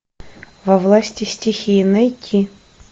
во власти стихии найти